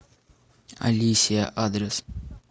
алисия адрес